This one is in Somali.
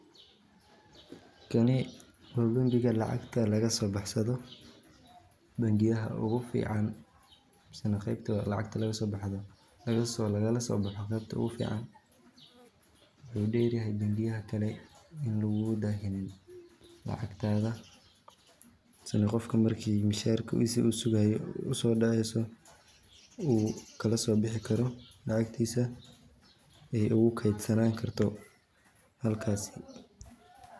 Kani waa bengiga lacagta lagaso baxsado bangiyada ogu fican misane qebta lacagta lagalaso boxo qebta ogu fican, wuxuu dheryahay bangiyada kale ini lugugu daahinin lacagta masane qofka marku misharkis uu sugayo uso dhaceyso uu kalaso bixi karo lacagtiisa ay ogu ketsanani karto halkaasi